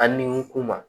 A ni kuma